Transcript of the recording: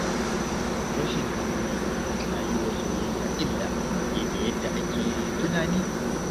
Rashin haƙuri na yi wa soyayya illa fiye da yadda ake tunani.